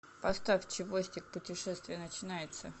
поставь чевостик путешествие начинается